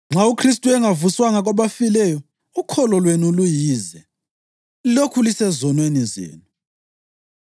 Nxa uKhristu engavuswanga kwabafileyo ukholo lwenu luyize; lilokhu lisezonweni zenu.